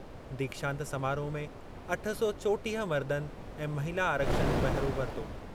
दीक्षांत समारोह में अठ सौ चोटीह मर्दनि ऐं महिला आरक्षिनि बहिरो वरितो।